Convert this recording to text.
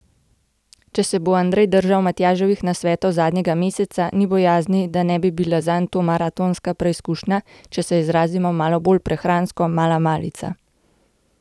Če se bo Andrej držal Matjaževih nasvetov zadnjega meseca, ni bojazni, da ne bi bila zanj tudi maratonska preizkušnja, če se izrazimo malo bolj prehransko, mala malica.